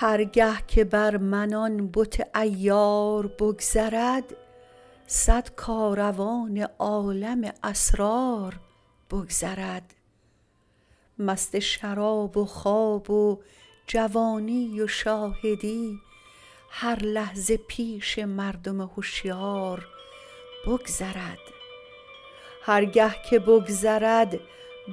هر گه که بر من آن بت عیار بگذرد صد کاروان عالم اسرار بگذرد مست شراب و خواب و جوانی و شاهدی هر لحظه پیش مردم هشیار بگذرد هر گه که بگذرد